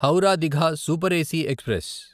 Howrah Digha super AC express